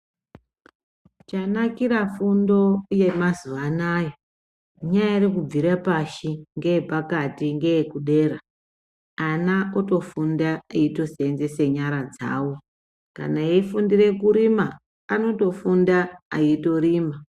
Chanakira fundo yamazuva anaya inyari kubvira pashi ngeyepakati ngeyekudera. Ana otofunda eitosenzese nyara dzavo, kana eifundire kurima anotofunda aitorima.